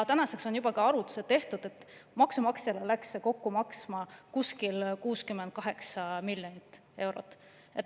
Tänaseks on juba tehtud ka arvutused, mille kohaselt läks see maksumaksjale kokku maksma umbes 68 miljonit eurot.